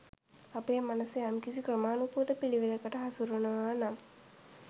අපේ මනස යම්කිසි ක්‍රමාණුකූල පිළිවෙලකට හසුරුවනවා නම්